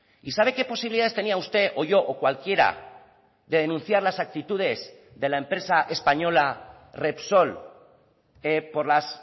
y sabe qué posibilidades tenía usted o yo o cualquiera de denunciar las actitudes de la empresa española repsol por las